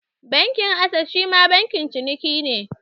Bankin Ases shima bankin ciniki ne.